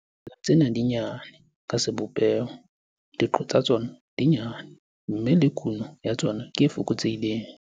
Dimela tsena di nyane ka sebopeho, diqo tsa tsona di nyane, mme le kuno ya tsona ke e fokotsehileng.